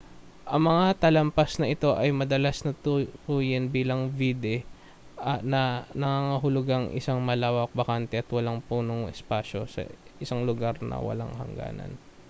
ang mga talampas na ito ay madalas na tukuyin bilang vidde na nangangahulugang isang malawak bakante at walang punong espasyo isang lugar na walang hangganan